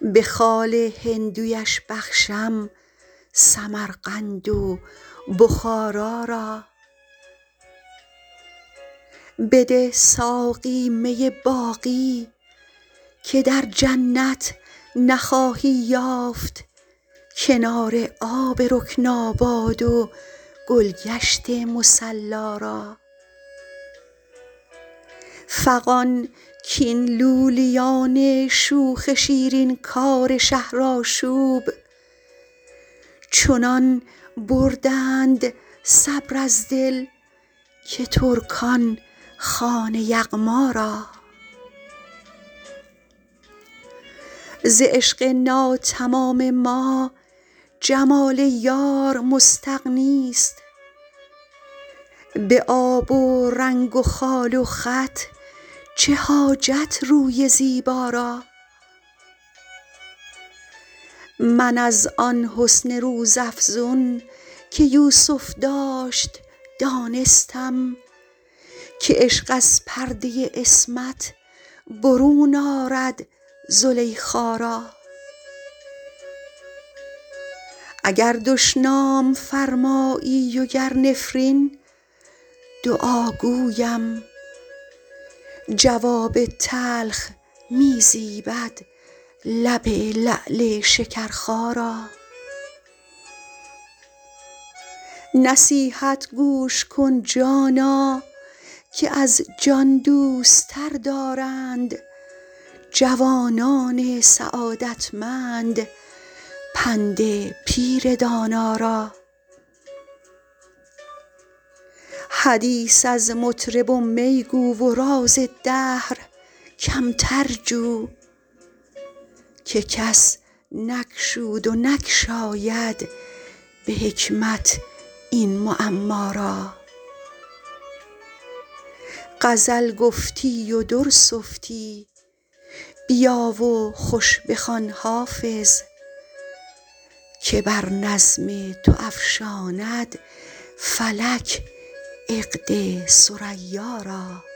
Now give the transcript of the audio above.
به خال هندویش بخشم سمرقند و بخارا را بده ساقی می باقی که در جنت نخواهی یافت کنار آب رکناباد و گل گشت مصلا را فغان کاین لولیان شوخ شیرین کار شهرآشوب چنان بردند صبر از دل که ترکان خوان یغما را ز عشق ناتمام ما جمال یار مستغنی است به آب و رنگ و خال و خط چه حاجت روی زیبا را من از آن حسن روزافزون که یوسف داشت دانستم که عشق از پرده عصمت برون آرد زلیخا را اگر دشنام فرمایی و گر نفرین دعا گویم جواب تلخ می زیبد لب لعل شکرخا را نصیحت گوش کن جانا که از جان دوست تر دارند جوانان سعادتمند پند پیر دانا را حدیث از مطرب و می گو و راز دهر کمتر جو که کس نگشود و نگشاید به حکمت این معما را غزل گفتی و در سفتی بیا و خوش بخوان حافظ که بر نظم تو افشاند فلک عقد ثریا را